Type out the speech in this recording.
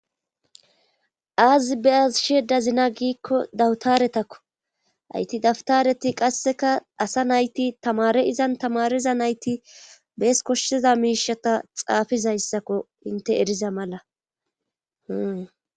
aazi be7asshedazina giikko dawutaretakko ayti dawutareti qasseka asa nayti tamare izan tamariza nayti bees koshshiza miishata xaafizayssakko inte eriza mala